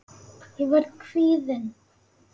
Ég verð kvíðin.